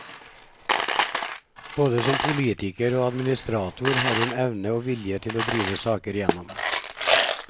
Både som politiker og administrator har hun evne og vilje til å drive saker igjennom.